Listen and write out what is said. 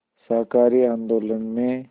शाकाहारी आंदोलन में